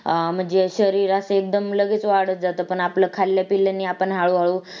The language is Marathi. अं म्हणजे शरीर अस एकदम लगेच वाढत जात पण आपल खाल्ल्यापिल्ल्यानी आपण हळू हळू